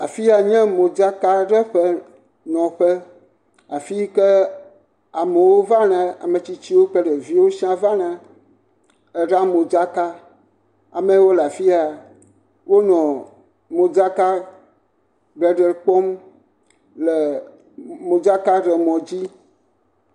afiya nye modzaka ɖeƒe nɔƒe ametsitsiwo vana ɖeviwo vana eɖaa modzaka amewo lafiya wonɔ modzaka ɖeɖe kpɔm le modzaka ɖe mɔ dzi